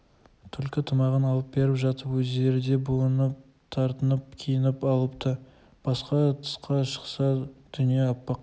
түлкі тымағын алып беріп жатып өздері де буынып-тартынып киініп алыпты тысқа шықса дүние аппақ